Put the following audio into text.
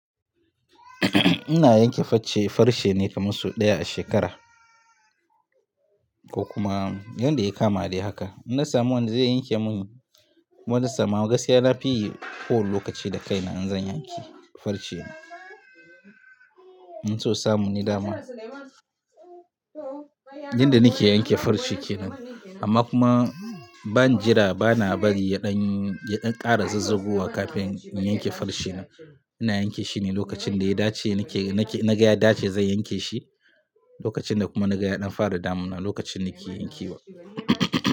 Ina yanke farce, farce ne kamar sau ɗaya a shekara ko kuma yanda ya kama dai haka. In na samun wanda zai yanke mun, mun dai samu. Gaskiya nafi yi ko wani lokaci da kaina in zan yanke farce. In so samu ne dama. Yanda nake yanke farce kenan amma kuma ban jira bana bari ya ɗan, ya ɗan ƙara zazzagowa kafin in yanke farce na. Ina yanke shi ne lokacin da ya dace nake, nake, na ga ya dace zan yanke shi, lokacin da kuma na ga ya ɗan fara damuna, lokacin nake yankewa.